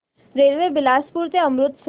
railway Bilaspur ते अमृतसर